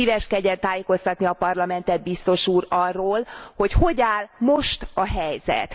Szíveskedjen tájékoztatni a Parlamentet Biztos úr arról, hogy hogy áll most a helyzet.